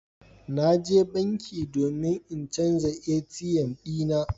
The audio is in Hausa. Na je banki domin in canza katin ATM dina.